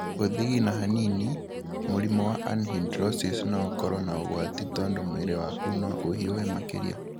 Gũthigina hanini, mũrimũ wa anhidrosis no ũkoro na ũgwati tondũ mwĩrĩ waku no ũhiũhe makĩria.